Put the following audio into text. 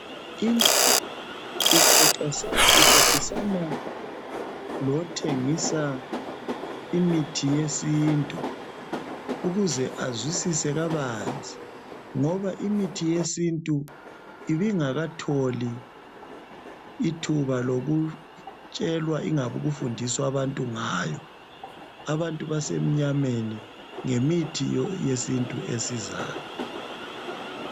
intombi ixoxisana lothengisa imithi yesintu ukuze azwisise kabanzi ngoba imthi yesintu ibingatholi ithuba lokutshelwa loba ukufundiswa bantu ngayo abantu basemnyameni ngemithi yesintu esizayo